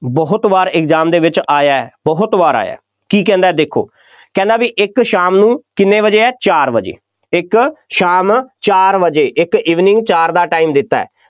ਬਹੁਤ ਵਾਰ exam ਦੇ ਵਿੱਚ ਆਇਆ, ਬਹੁਤ ਵਾਰ ਆਇਆ, ਕੀ ਕਹਿੰਦਾ ਦੇਖੋ ਕਹਿੰਦਾ ਬਈ ਇੱਕ ਸ਼ਾਮ ਨੂੰ ਕਿੰਨੇ ਵਜੇ ਆ ਚਾਰ ਵਜੇ, ਇੱਕ ਸ਼ਾਮ ਚਾਰ ਵਜੇ, ਇੱਕ evening ਚਾਰ ਦਾ time ਦਿੱਤਾ ਹੈ,